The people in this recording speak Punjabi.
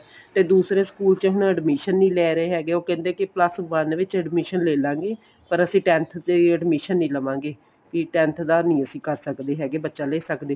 ਤੇ ਦੂਸਰੇ school ਚ ਹੁਣ admission ਨੀਂ ਲੈ ਰਹੇ ਹੈਗੇ ਉਹ ਕਹਿੰਦੇ ਕਿ plus one ਵਿੱਚ admission ਲੈਲਾਗੇ ਪਰ ਅਸੀਂ tenth ਦੀ admission ਨੀਂ ਲਵਾਗੇ ਕੀ tenth ਦਾ ਨੀਂ ਅਸੀਂ ਕਰ ਸਕਦੇ ਹੈਗੇ ਬੱਚਾ ਲੈ ਸਕਦੇ